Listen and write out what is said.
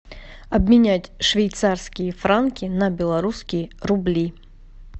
обменять швейцарские франки на белорусские рубли